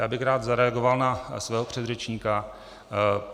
Já bych rád zareagoval na svého předřečníka.